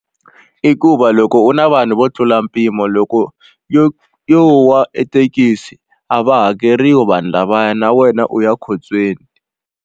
I ku va loko u na vanhu vo tlula mpimo loko yo yo wa ethekisi a va hakeriwi vanhu lavaya na wena u ya khotsweni.